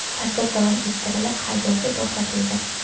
Tadbir davom ettirilib, haydovchi to‘xtatildi.